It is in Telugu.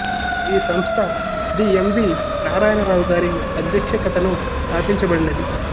ఈ సంస్థ శ్రీ యం వి నారాయణరావు గారి అధ్యక్షతను స్థాపించబడినది